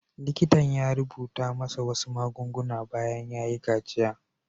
Likitan ya rubuta masa wasu magunguna bayan ya yi kaciya.